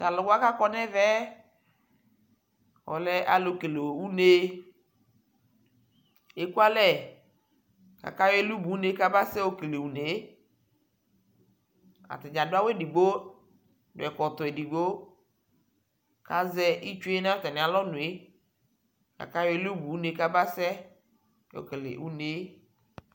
Talʋwa kʋ akɔ nʋ ɛvɛ yɛ alɛ alʋ kele une Ekualɛ kakayɔ ɛlʋbʋne kabasɛ yokele unee atadza dʋ awu edigbo, ɛkɔtɔ edigbo kazɛ itsue nʋ atani alɔnoe akʋ ayɔ ɛlʋbʋne kʋ abasɛ yokele unee